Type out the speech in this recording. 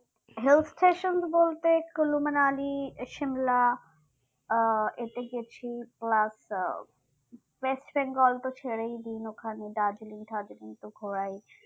hill stations বলতে মানালি সিমলা আহ এতে গেছি plus আহ ওয়েস্টবেঙ্গল তো ছেড়েই দিন ওখানে দার্জিলিং টাৰ্জিলিং তো ঘোরার ইচ্ছে